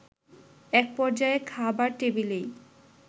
একপর্যায়ে খাবার টেবিলেই